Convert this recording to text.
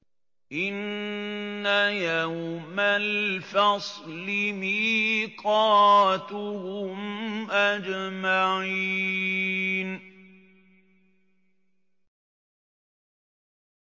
إِنَّ يَوْمَ الْفَصْلِ مِيقَاتُهُمْ أَجْمَعِينَ